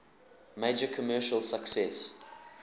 major commercial success